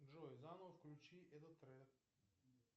джой заново включи этот трек